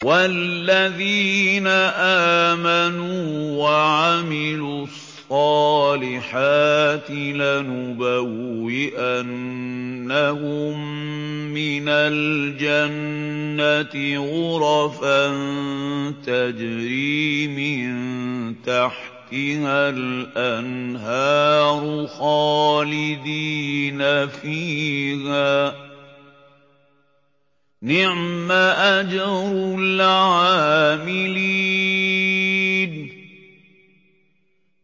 وَالَّذِينَ آمَنُوا وَعَمِلُوا الصَّالِحَاتِ لَنُبَوِّئَنَّهُم مِّنَ الْجَنَّةِ غُرَفًا تَجْرِي مِن تَحْتِهَا الْأَنْهَارُ خَالِدِينَ فِيهَا ۚ نِعْمَ أَجْرُ الْعَامِلِينَ